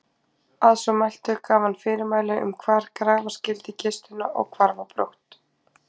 Að svo mæltu gaf hann fyrirmæli um hvar grafa skyldi kistuna og hvarf á brott.